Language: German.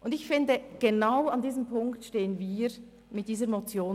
Ich finde, genau an diesem Punkt stehen wir mit dieser Motion.